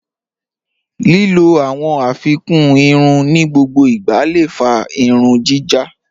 Lílọ̀ awọn afikún ìrùn ni gbogbo ìgbà lé fà ìrùn jíjá.